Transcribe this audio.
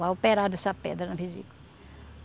Vai operar dessa pedra na vesícula.